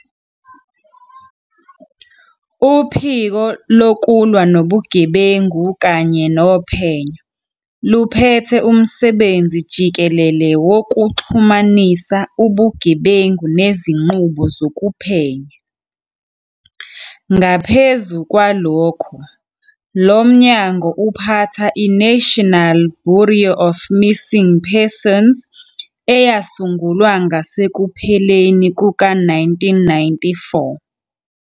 "Uphiko Lokulwa Nobugebengu kanye Nophenyo" luphethe umsebenzi jikelele wokuxhumanisa ubugebengu nezinqubo zokuphenya. Ngaphezu kwalokho, lo mnyango uphatha iNational Bureau of Missing Persons, eyasungulwa ngasekupheleni kuka-1994.